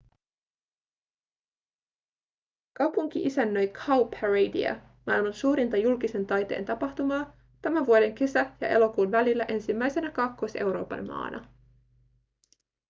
kaupunki isännöi cowparadea maailman suurinta julkisen taiteen tapahtumaa tämän vuoden kesä- ja elokuun välillä ensimmäisenä kaakkois-euroopan maana